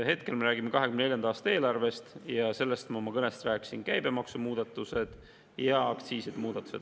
Hetkel me räägime 2024. aasta eelarvest ja sellest ma oma kõnes rääkisin: käibemaksumuudatused ja aktsiiside muudatused.